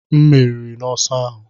M meriri n'ọsọ ahụ